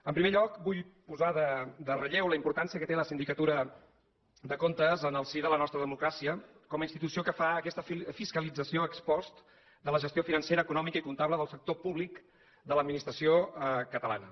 en primer lloc vull posar en relleu la importància que té la sindicatura de comptes en el si de la nostra democràcia com a institució que fa aquesta fiscalització ex post de la gestió financera econòmica i comptable del sector públic de l’administració catalana